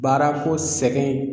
Baarako sɛgɛn